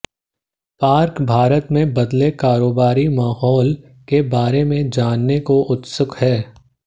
park Bharat में बदले कारोबारी माहौल के बारे में जानने को उत्सुक थे